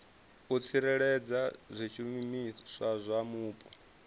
u tsireledza zwishumiswa zwa mupo